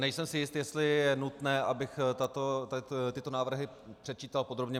Nejsem si jist, jestli je nutné, abych tyto návrhy předčítal podrobně.